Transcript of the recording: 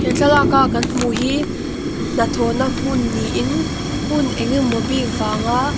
he thlalaka kan hmuh hi hnathawna hmun niin hun engemaw bik vanga.